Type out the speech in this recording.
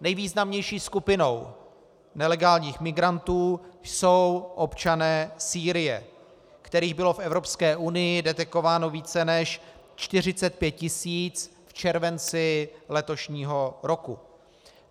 Nejvýznamnější skupinou nelegálních migrantů jsou občané Sýrie, kterých bylo v Evropské unii detekováno více než 45 tisíc v červenci letošního roku.